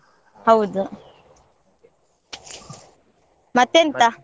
ಹೌದು ಮತ್ತೆಂತ.